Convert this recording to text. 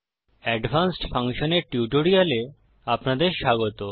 advanced functions এর টিউটোরিয়ালে আপনাদের স্বাগত